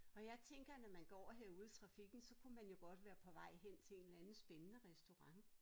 Og jeg tænker når man går herude i trafikken så kunne man jo godt være på vej hen til en eller anden spændende restaurant